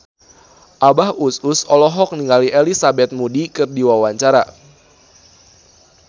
Abah Us Us olohok ningali Elizabeth Moody keur diwawancara